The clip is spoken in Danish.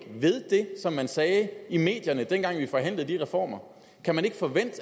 ved det som man sagde i medierne dengang vi forhandlede de reformer kan man ikke forvente